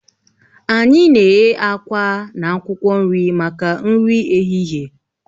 Anyị na-eghe àkwá na akwụkwọ nri maka nri ehihie